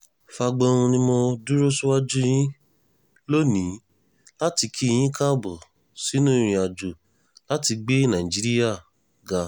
fagbohun ni mo dúró síwájú yín lónìí láti kí yín káàbọ̀ sínú ìrìnàjò láti gbé nàìjíríà ga